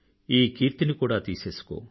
ఈ కీర్తిని కూడా తీసేసుకో